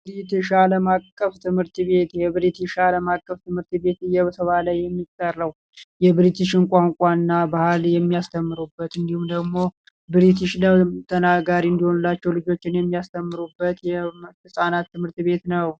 ቢርትሻ ዓለም አቀፍ ትምርት ቤት የ ብርትሽ ዓለም አቀፍ ትምርት ቤት እየተባለ የሚጠራው የ ብርትሽን ቁአንቁአ እና ባህል የሚያስተምሩበት እዲሁም ደግሞ ቢርትሽ ተናጋሪ አድሆንላቸው ልጆችህን የሚያስተምሩበት የ ህፃናት ትምርት ቤት ነው ።